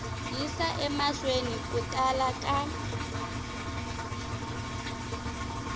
yisa emahlweni ku tala ka